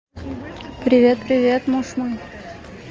привет привет муж мой